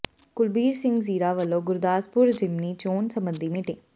ਕੁਲਬੀਰ ਸਿੰਘ ਜ਼ੀਰਾ ਵਲੋਂ ਗੁਰਦਾਸਪੁਰ ਜ਼ਿਮਨੀ ਚੋਣ ਸਬੰਧੀ ਮੀਟਿੰਗ